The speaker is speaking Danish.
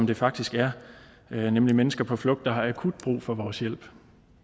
det faktisk er er nemlig mennesker på flugt der har akut brug for vores hjælp